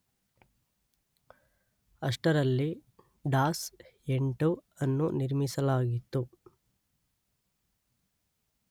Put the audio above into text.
ಅಷ್ಟರಲ್ಲಿ ಡಾಸ್ 8 ಅನ್ನು ನಿರ್ಮಿಸಲಾಗಿತ್ತು.